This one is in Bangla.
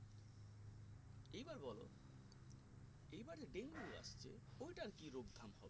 এইবার বলো এইবারে dengue আসছে ওটার কি রোগ ধাম হবে